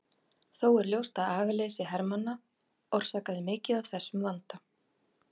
Þó er ljóst að agaleysi hermanna orsakaði mikið af þessum vanda.